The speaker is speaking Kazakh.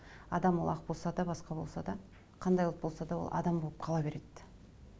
адам ол ақ болса да басқа болса да қандай ұлт болса да ол адам болып қала береді